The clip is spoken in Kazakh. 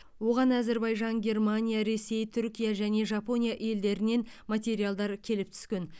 оған әзербайжан германия ресей түркия және жапония елдерінен материалдар келіп түскен